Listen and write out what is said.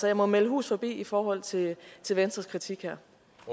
jeg må melde hus forbi i forhold til venstres kritik her